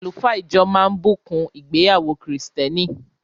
Àlùfáà ijọ máa bùkún ìgbéyàwó kìrìtẹ́nì.